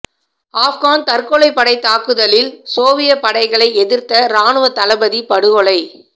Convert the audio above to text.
ஆப்கான் தற்கொலை படை தாக்குதலில் சோவியத் படைகளை எதிர்த்த ராணுவ தளபதி படுகொலை